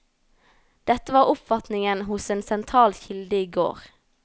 Dette var oppfatningen hos en sentral kilde i går.